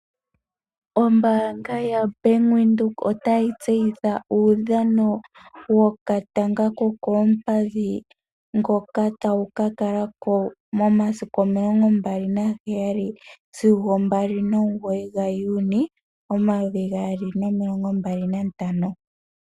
Ombaanga yaBank Windhoek otayi tseyitha uudhano wokatanga kokoompadhi. Mboka tawu ka kala ko momasiku omilongo mbali naheyali sigo mbali nomugoyi gaJuni omayovi gaali nomilongo mbali nantano.